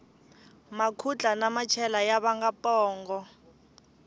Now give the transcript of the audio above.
makhutla na machela ya vanga pongo